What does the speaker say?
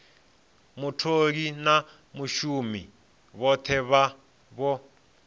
mutholi na vhashumi vhothe vho